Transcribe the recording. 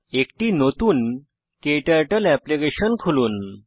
একটি নতুন ক্টার্টল এপ্লিকেশন খুলুন